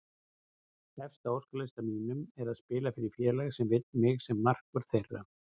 Efst á óskalistanum mínum er að spila fyrir félag sem vill mig sem markvörð þeirra.